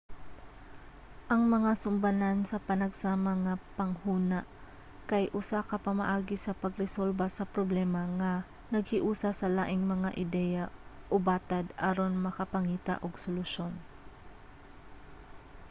ang mga sumbanan sa panagsama nga panghuna kay usa ka pamaagi sa pagresolba sa problema nga naghiusa sa laing mga ideya o batad aron makapangita og solusyon